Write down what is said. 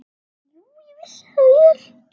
Jú, ég vissi það vel.